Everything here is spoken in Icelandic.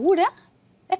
en